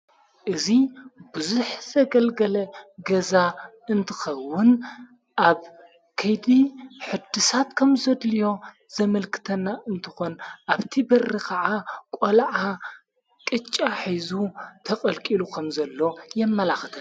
እዙይ ብዙኅ ዘገልገለ ገዛ እንትኸውን ኣብ ከይድ ሕድሳት ከም ዘድልዮ ዘመልክተና እንተኾን ኣብቲ በሪ ኸዓ ቖልዓ ቅጫ ኂዙተቐልቂሉ ኸም ዘሎ የመላኽተ።